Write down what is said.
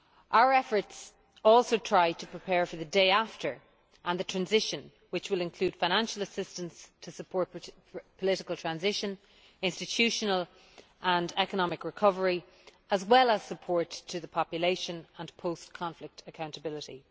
Our efforts also try to prepare for the day after and the transition, which will include financial assistance to support political transition, institutional and economic recovery as well as support to the population and post conflict accountability.